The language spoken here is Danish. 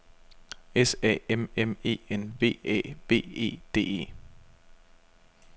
S A M M E N V Æ V E D E